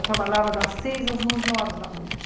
Eu trabalhava das seis às onze horas da noite.